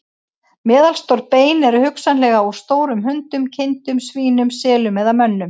Meðalstór bein eru hugsanlega úr stórum hundum, kindum, svínum, selum eða mönnum.